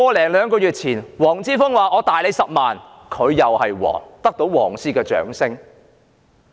一兩個月前，黃之鋒說他有10萬個口罩，他就是皇，得到"黃絲"的掌聲。